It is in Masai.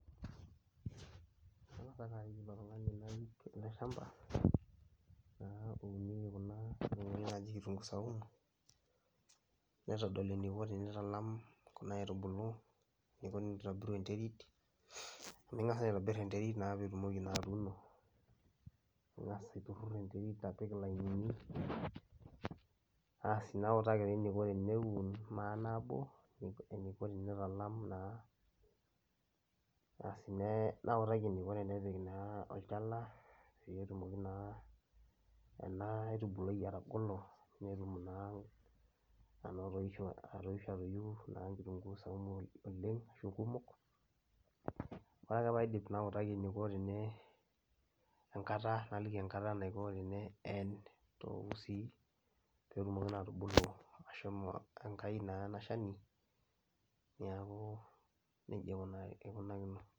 Kang'asa ake arik ilo tung'ani narik ele shamba naa ounieki kuna aitubuku naaji kitung'uu saumu naitodol eniko tenitalam kuna aitubulu, eniko tenitobiru enterit amu ing'asa aitobir enterit naa piitumoki naa atuuno ing'as aitururur enterit apik ilainini. Asi nautaki taa eniko teneun maa nabo eniko tenitalam naa asi ne nautaki eniko tenepik naa olchala peyie etumoki naa ena aitubului atagolo netum naa anotoisho atoisho atoyiu naa nkitung'uu saumu oleng' ashu kumok. Ore ake paidip nautaki eniko tene enkata naliki enkata naiko teneen too usiii peetumoki naa atubulu ashomo enkai naa ena shani, neeku neja ikunar ikunakino.